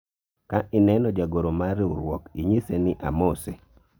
ka ineno jagoro mar riwruok , inyise ni amose